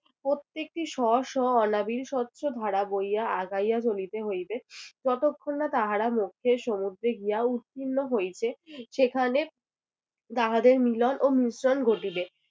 প্রত্যেকটি স্ব স্ব অনাবিল স্বচ্ছ ধারা বইয়া আগাইয়া চলিতে হইবে যতক্ষণ না তাহারা মধ্যের সমুদ্রে গিয়া উত্তীর্ণ হইছে সেখানে তাহাদের মিলন ও মিশ্রণ ঘটিবে।